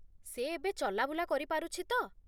ସେ ଏବେ ଚଲାବୁଲା କରିପାରୁଛି ତ?